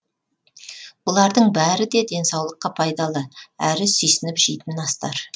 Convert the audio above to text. бұлардың бәрі де денсаулыққа пайдалы әрі сүйсініп жейтін астар